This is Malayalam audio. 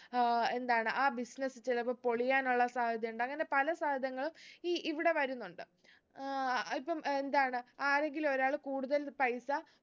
ഏർ എന്താണ് ആ business ചിലപ്പം പൊളിയാനുള്ള സാധ്യതയുണ്ട് അങ്ങനെ പല സാധ്യതകളും ഈ ഇവിടെ വരുന്നുണ്ട് ഏർ ഇപ്പം ഏർ എന്താണ് ആരെങ്കിലും ഒരാൾ കൂടുതൽ പൈസ